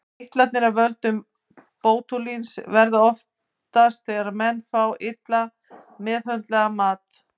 Eitranir af völdum bótúlíns verða oftast þegar menn fá illa meðhöndlaðan mat.